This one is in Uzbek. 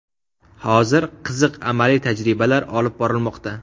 Hozir qiziq amaliy tajribalar olib borilmoqda.